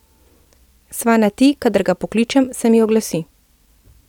Sva na ti, kadar ga pokličem, se mi oglasi.